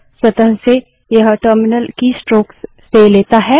स्वतः से यह टर्मिनल कीस्ट्रोक्स से लेता है